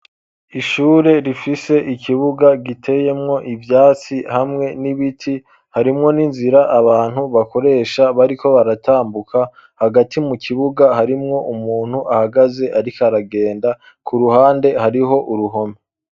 Ishure, rifise ikibuga, giteyemwo ivyatsi, hamwe n'ibiti; harimwo n'inzira, abantu bakoresha, bariko baratambuka; hagati mu kibuga, harimwo umuntu, ahagaze, ariko aragenda; ku ruhande, hariho uruhome.